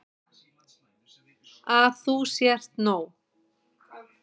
Að þú sért nóg.